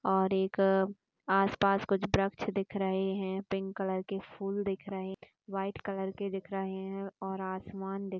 और एक आसपास कुछ वृक्ष दिख रहे हैं पिंक कलर के फूल दिख रहे हैं वाइट कलर के दिख रहे हैं और आसमान दिख--